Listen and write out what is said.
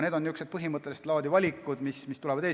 Need on niisugused põhimõttelist laadi valikud, mis ees seisavad.